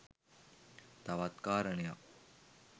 තවත් කාරණයක්